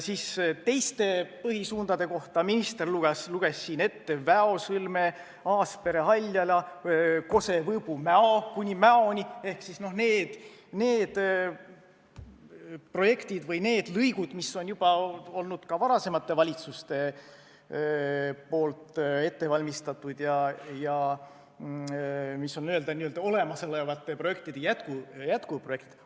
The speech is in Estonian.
Teiste põhisuundade kohta luges minister siin ette Väo sõlme, Aaspere–Haljala, Kose–Võõbu–Mäo ehk need projektid või need lõigud, mille on juba varasemad valitsused ette valmistanud ja mis on n-ö olemasolevate projektide jätkuprojektid.